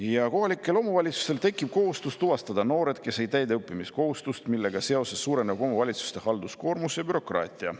Ja tekkiva kohustuse tõttu tuvastada noored, kes ei täida õppimiskohustust, suureneb omavalitsuste halduskoormus ja bürokraatia.